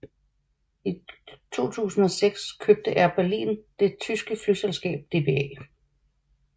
I 2006 købte Air Berlin det tyske flyselskab dba